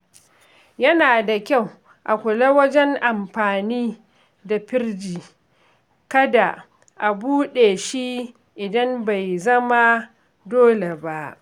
Yana da kyau a kula wajen amfani da firji, kada a buɗe shi idan bai zama dole ba.